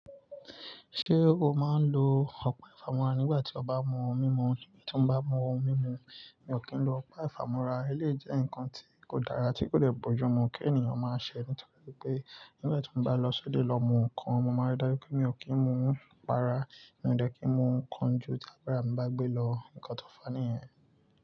Ṣé o máa ń lo ọ̀pá ìfàmúra nígbà tí o bá mú ohun mímu? Nígbà tí mo bá mú ohun mímu, mi ò kí ń lo ọ̀pá ìfàmúra. Ó lè jẹ́ ǹkan tí kò dára, tí kò lè bọ́ ju. Mo kí ènìyàn máa ṣẹ́ ní tọ̀ pé pé nígbà tí mo bá lọ sóde lọ mú nǹkan, mo máa rí dájú pé mi ò kí ń mú un rárá, mi ò dẹ́ki ń mú nǹkan ju tí àgbàrá mi bá gbé lọ, ǹkan tó faní yẹn.